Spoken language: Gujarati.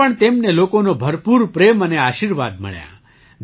તેમાં પણ તેમને લોકોનો ભરપૂર પ્રેમ અને આશીર્વાદ મળ્યો